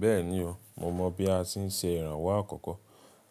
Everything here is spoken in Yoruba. Bẹ́ẹ̀ni o, mo mọ bí a ṣe ń ṣe ìrànwọ́ àkọ́kọ́.